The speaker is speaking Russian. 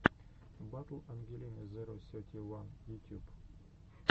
батл ангелины зеро сети уан ютюб